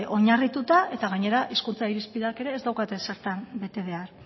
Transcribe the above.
oinarrituta eta gainera hizkuntza irizpideak ez daukate ezertan bete behar